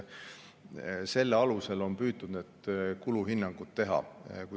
Selle alusel on püütud need kuluhinnangud teha.